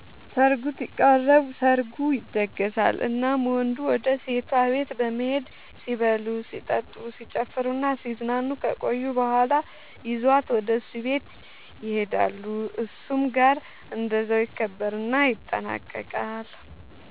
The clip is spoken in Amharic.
ሰርጉ ሲቃረብ፤ ሰርጉ ይደገሳል እናም ወንዱ ወደ ሴቷ ቤት በመሄድ ሲበሉ ሲጠጡ፣ ሲጨፍሩናሲዝናኑ ከቆዩ በኋላ ይዟት ወደ እሱ ቤት ይሄዳሉ እሱም ጋር እንደዛው ይከበርና ይጠናቀቃል